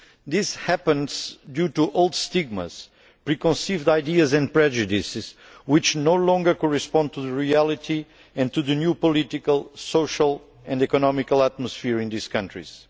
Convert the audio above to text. This happens due to old stigmas, preconceived ideas and prejudices which no longer correspond to reality and to the new political, social and economic atmosphere in these countries.